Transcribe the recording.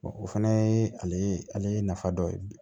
o fana ye ale nafa dɔ ye